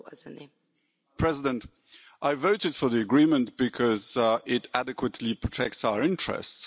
Madam President, I voted for the agreement because it adequately protects our interests.